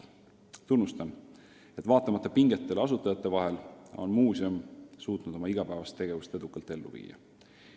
Ma tunnustan seda, et vaatamata pingetele suhetes asutajatega on muuseum suutnud oma igapäevase tegevuse plaane edukalt ellu viia.